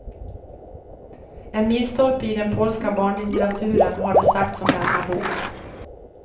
En milstolpe i den polska barnlitteraturen har det sagts om denna bok.